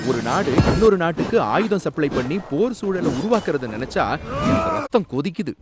ஒரு நாடு இன்னொரு நாட்டுக்கு ஆயுதம் சப்ளை பண்ணி போர் சூழல உருவாக்குறத நினைச்சா எனக்கு ரத்தம் கொதிக்குது.